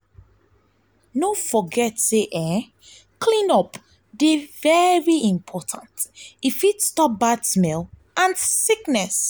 no forget say clean-up dey important; e fit stop bad smell and sickness.